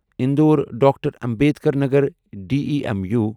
Indore doctor Ambedkar Nagar demo